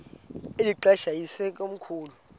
eli xesha yayisekomkhulu